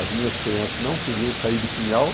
As minhas crianças não queriam sair de Pinhal.